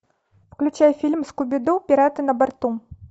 включай фильм скуби ду пираты на борту